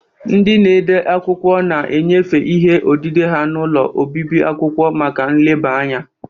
Ndị na-ede akwụkwọ na-enyefe ihe odide ha n'ụlọ obibi akwụkwọ maka nleba anya.